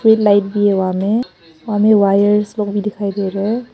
एक लाइट भी है वहां में और हमें वायरस सब भी दिखाई दे रहे हैं।